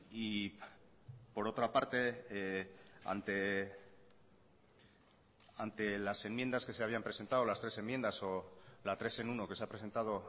y por otra parte ante las enmiendas que se habían presentado las tres enmiendas o la tres en uno que se ha presentado